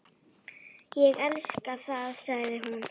Ég elska það, segir hún.